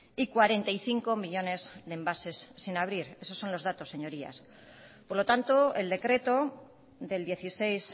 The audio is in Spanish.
y cuarenta y cinco millónes de envases sin abrir esos son los datos señorías por lo tanto el decreto del dieciséis